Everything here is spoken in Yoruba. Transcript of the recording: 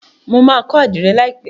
Mọ má kó adire láìpé.